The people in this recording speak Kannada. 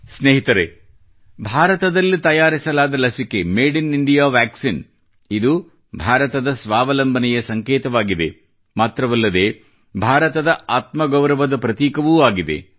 ಸ್ನೇಹಿತರೇ ಭಾರತದಲ್ಲಿ ತಯಾರಿಸಲಾದ ಲಸಿಕೆ ಮಡೆಇನಿಂದಿಯಾ ವಾಕ್ಸಿನ್ ಇಂದು ಭಾರತದ ಸ್ವಾವಲಂಬನೆಯ ಸಂಕೇತವಾಗಿದೆ ಮಾತ್ರವಲ್ಲದೆ ಭಾರತದ ಆತ್ಮಗೌರವದ ಪ್ರತೀಕವೂ ಆಗಿದೆ